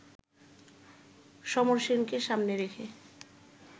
সমর সেনকে সামনে রেখে